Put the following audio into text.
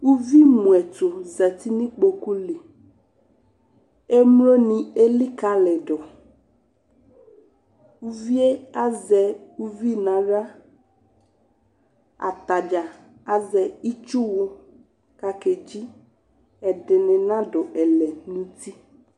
Uvi mʋɛtʋ zati nʋ ikpoku li, emloni elikali dʋ, uvi yɛ azɛ uvi n'aɣla, atadzaa azɛ itsuwʋ k'akedzi, ɛdini n'adʋ ɛlɛn'uti